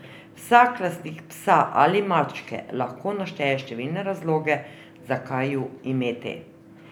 Vsak lastnik psa ali mačke lahko našteje številne razloge, zakaj ju imeti.